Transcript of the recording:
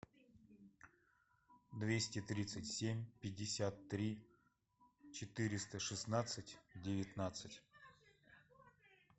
двести тридцать семь пятьдесят три четыреста шестнадцать девятнадцать